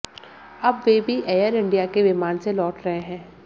अब वे भी एयर इंडिया के विमान से लौट रहे हैं